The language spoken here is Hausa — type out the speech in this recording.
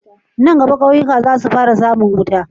Nan gama kauyuka zasu fara samun wuta